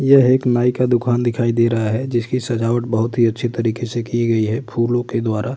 यह एक नाई का दुकान दिखाई दे रहा है जिसकी सजावट बोहोत ही अच्छे तरीके से की गयी है फूलों के द्वारा।